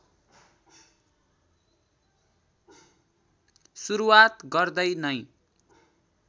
सुरुवात गर्दै नै